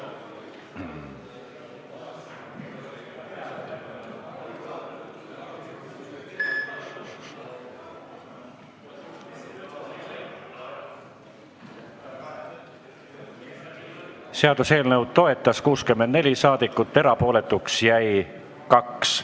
Hääletustulemused Seaduseelnõu toetas 64 saadikut, erapooletuks jäi 2.